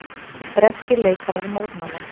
Breskir leikarar mótmæla